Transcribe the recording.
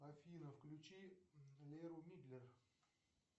афина включи леру мидлер